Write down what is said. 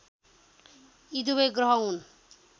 यी दुबै ग्रह हुन्